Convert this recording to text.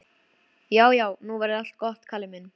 Já, já, nú verður allt gott, Kalli minn.